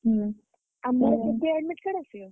ହୁଁ ଆମର କେବେ admit card ଆସିବ କି?